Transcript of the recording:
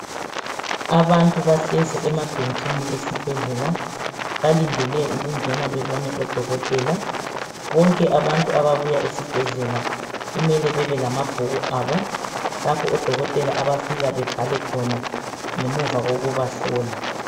Abantu bahlezi emabhentshini esibhedlela balindele ukungena bebone odokotela, bonke abantu ababuya esibhedlela kumele bebe lamabhuku abo lapho odokotela abafika bebhale khona ngemuva kokubahlola.